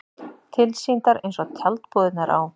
Tilsýndar eins og tjaldbúðirnar á